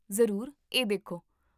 ਜ਼ਰੂਰ, ਇਹ ਦੇਖੋ